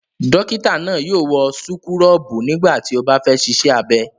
Dọ́kítá náà yóò wọ súkúrọ́bù nígbà tí ó bá fẹ́ ṣiṣẹ́ abẹ.